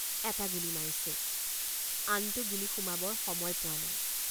এটা গুলী মাৰিছোঁ আনটো গুলী সুমাবৰ সময় পোৱা নাই।